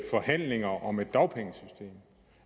forhandlinger om et dagpengesystem